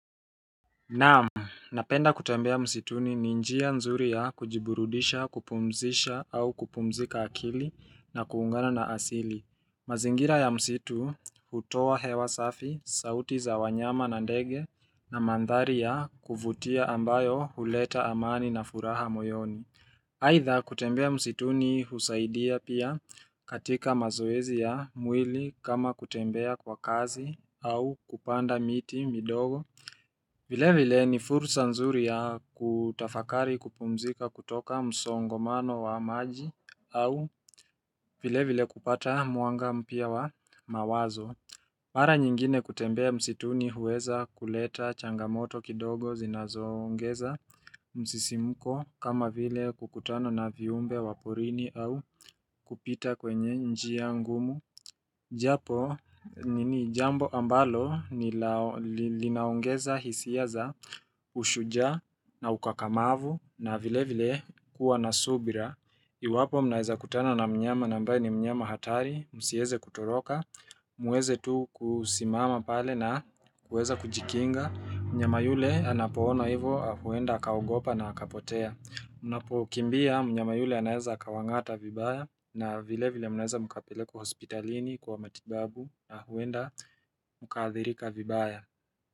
Naam, napenda kutembea msituni ni njia nzuri ya kujiburudisha kupumzisha au kupumzika akili na kuungana na asili mazingira ya msitu hutoa hewa safi, sauti za wanyama na ndege na mandhari ya kuvutia ambayo huleta amani na furaha moyoni Haidha kutembea msituni husaidia pia katika mazoezi ya mwili kama kutembea kwa kazi au kupanda miti midogo vile vile ni fursa nzuri ya kutafakari kupumzika kutoka msongomano wa maji au vile vile kupata mwanga mpya wa mawazo Mara nyingine kutembea msituni huweza kuleta changamoto kidogo zinazo ongeza msisimuko kama vile kukutano na viumbe wa porini au kupita kwenye njia ngumu Japo ni jambo ambalo ni linaongeza hisia za ushujaa na ukakamavu na vile vile kuwa na subira Iwapo mnaweza kutana na mnyama na ambaye ni mnyama hatari, msieze kutoroka, muweze tu kusimama pale na kuweza kujikinga Mnyama yule anapoona hivo huenda akagopa na kapotea Unapo kimbia mnye mayule anaeza kawangata vibaya na vile vile anaeza mukapelekwa hospitalini kwa matibabu na huenda mkaathirika vibaya.